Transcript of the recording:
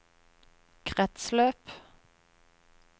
kretsløp